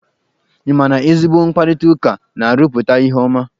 Ị ma na ezigbo mkparịtaụka na-arụpụta ihe ọma?